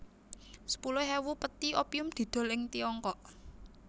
Sepuluh ewu pethi opium didol ing Tiongkok